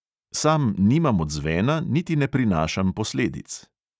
Sam nimam odzvena niti ne prinašam posledic.